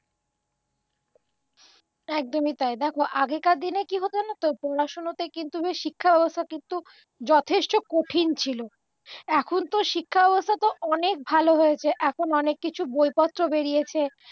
একদমই তাই দেখো আগেকার দিনে কি হত জানতো পড়াশুনো থেকে শিক্ষাব্যবস্থা কিন্তু যথেষ্ট কঠিন ছিল এখনতো শিক্ষাব্যবস্থা তো অনেক ভালো হয়েছে এখন অনেক কিছু বইপত্র বেড়িয়েছে